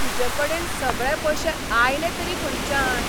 तुजेकडेन सगळे पयशे आयले तरी खंयच्यान?